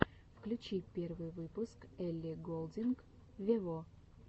включи первый выпуск элли голдинг вево